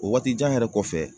O waati jan yɛrɛ kɔfɛ.